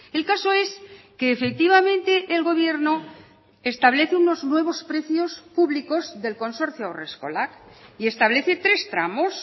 el caso es que efectivamente el gobierno establece unos nuevos precios públicos del consorcio haurreskolak y establece tres tramos